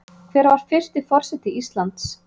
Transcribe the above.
Hver var fyrsti forseti Íslands?